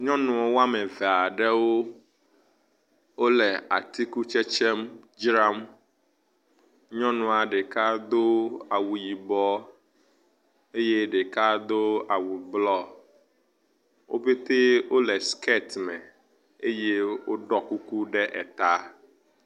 Nyɔnu wɔm ve aɖewo wo le atikutsetsem dzram. Nyɔnua ɖeka do awu yibɔ eye ɖeka do awu blɔ. Wo pɛte wo le siketi me eye woɖɔ kuku ɖe eta.